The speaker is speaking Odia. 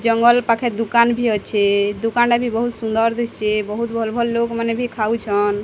ଜଙ୍ଗଲ୍ ପାଖେ ଦୁକନ୍ ଭି ଅଛେ। ଦୁକନ୍ ଟା ବି ବୋହୁତ୍ ସୁନ୍ଦର୍ ଦିଶ୍ଚେ। ବୋହୁତ୍ ଭଲ୍ ଭଲ୍ ଲୋକ୍ ମାନେ ବି ଖାଉଛନ୍।